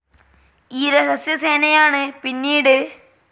ഈ രഹസ്യ സേനയാണ് പിന്നീട്.